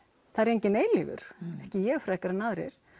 það er enginn eilífur ekki ég frekar en aðrir